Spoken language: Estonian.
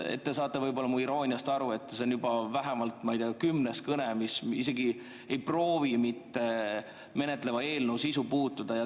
Te saate võib-olla mu irooniast aru – see on juba vähemalt, ma ei tea, kümnes kõne, mis isegi ei proovi menetletava eelnõu sisu puudutada.